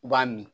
U b'a min